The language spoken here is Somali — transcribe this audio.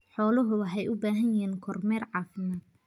Xooluhu waxay u baahan yihiin kormeer caafimaad.